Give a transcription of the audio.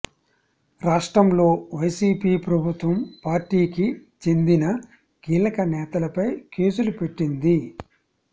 రాష్ట్రంలో వైసీపీ ప్రభుత్వం పార్టీకి చెందిన కీలక నేతలపై కేసులు పెట్టింది